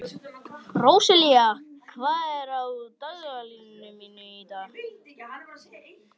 Róselía, hvað er á dagatalinu mínu í dag?